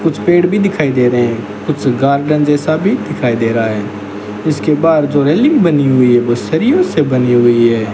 कुछ पेड़ भी दिखाई दे रहे हैं कुछ गार्डन जैसा भी दिखाई दे रहा है इसके बाहर जो रेलिंग बनी हुई है वो सरियों से बनी हुई है।